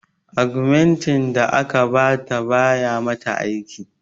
Agumentin da aka ba ta ba ya mata aiki